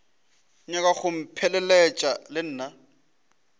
nyaka go mpheleletša le nna